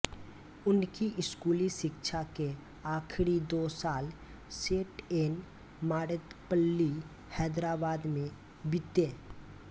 उनकी स्कूली शिक्षा के आखरी दो साल सेट ऐन मार्रेद्पल्ली हैदराबाद में बीते